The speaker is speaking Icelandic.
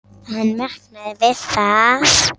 Hann vaknaði við það að